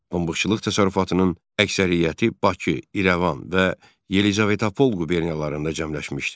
Pambıqçılıq təsərrüfatının əksəriyyəti Bakı, İrəvan və Yelizavetpol quberniyalarında cəmləşmişdi.